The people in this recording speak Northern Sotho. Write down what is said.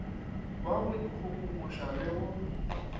wa go ikgogomoša le go